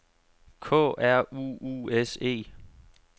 K R U U S E